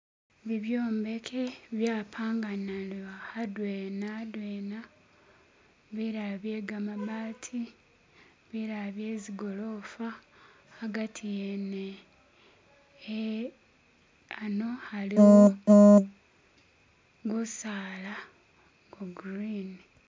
Ibi ibyombeki byapangana ano adwena adwena, bilala bye gamabbati bilala bye zigolofa. Agati wene ano aliwo gusala gwa grini.